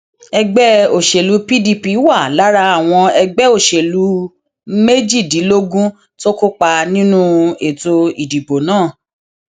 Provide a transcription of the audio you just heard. èmi kò nígbàgbọ pé wọn yóò búra wọlé fún tinubu kódà pẹlú bó ṣe jẹ ọrẹ mi